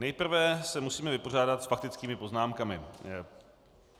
Nejprve se musíme vypořádat s faktickými poznámkami.